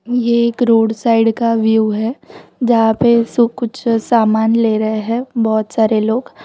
ये एक road side का व्यू है जहां पे सब कुछ सामान ले रहे हैं बहोत सारे लोग --